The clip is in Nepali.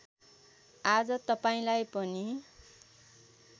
आज तपाईँलाई पनि